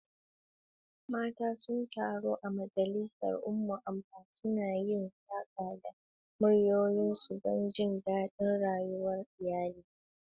Mata sun taru a majalisar Umuada, suna yin saƙa da muryoyinsu don jin daɗin rayuwar iyali.